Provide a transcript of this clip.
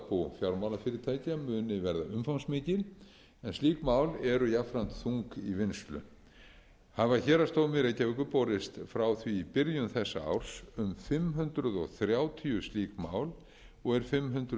fjármálafyrirtækja muni verða umfangsmikil en slík mál eru jafnframt þung í vinnslu hafa héraðsdómi reykjavíkur borist frá því í byrjun þessa árs um fimm hundruð þrjátíu slík mál og eru fimm hundruð